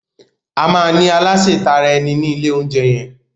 Ama ní Aláse tara ẹni ní ilè oúnjẹ yén